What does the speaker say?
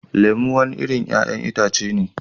Lemu wani irin 'ya'yan itace ne